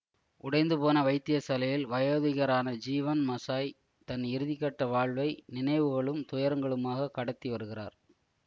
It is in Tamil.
உடைந்துபோன வைத்திய சாலையில் வயோதிகரான ஜீவன் மஷாய் தன் இறுதிக்கட்ட வாழ்வை நினைவுகளும் துயரங்களுமாகக் கடத்தி வருகிறார்